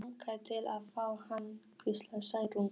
Mig langar til að fá hann, hvíslaði Særún.